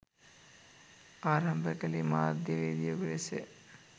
ආරම්භ කළේ මාධ්‍යවේදියකු ලෙසය.